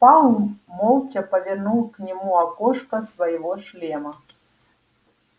пауэлл молча повернул к нему окошко своего шлема